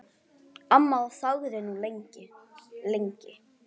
Amma þagði nú lengi, lengi.